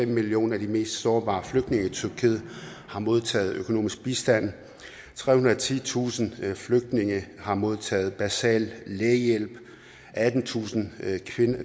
millioner af de mest sårbare flygtninge i tyrkiet har modtaget økonomisk bistand trehundrede og titusind flygtninge har modtaget basal lægehjælp attentusind